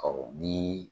Ɔ ni